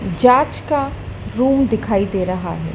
जांच का रूम दिखाई दे रहा है।